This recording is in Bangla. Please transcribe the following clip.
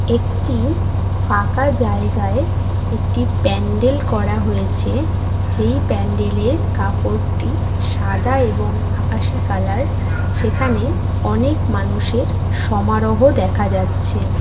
একটি ফাঁকা জায়গায় একটি প্যান্ডেল করা হয়েছে সেই প্যান্ডেল এর কাপড়টি সাদা এবং আকাশি কালার সেখানে অনেক মানুষ এর সমারহ দেখা যাচ্ছে।